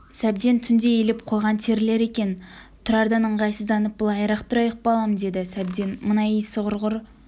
сәбден түнде илеп қойған терілер екен тұрардан ыңғайсызданып былайырақ тұрайық балам деді сәбден мына исі құрғыр